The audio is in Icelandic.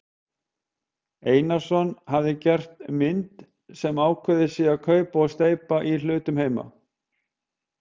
Einarsson hafi gert mynd sem ákveðið sé að kaupa og steypa í hlutum heima.